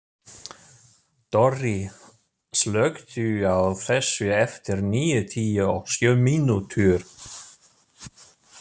Dorri, slökktu á þessu eftir níutíu og sjö mínútur.